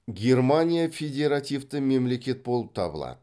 германия федеративті мемлекет болып табылады